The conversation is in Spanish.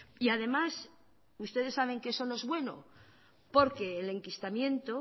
y además ustedes saben que eso no es bueno porque el enquistamiento